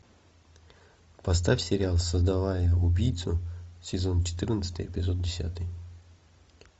поставь сериал создавая убийцу сезон четырнадцатый эпизод десятый